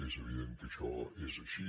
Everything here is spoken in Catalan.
és evident que això és així